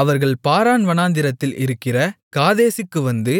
அவர்கள் பாரான் வனாந்திரத்தில் இருக்கிற காதேசுக்கு வந்து